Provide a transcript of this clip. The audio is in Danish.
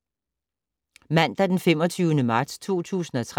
Mandag d. 25. marts 2013